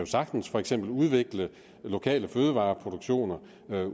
sagtens for eksempel udvikle lokale fødevareproduktioner